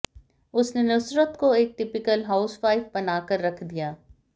उसने नुसरत को एक टिपिकल हाउस वाइफ बनाकर रख दिया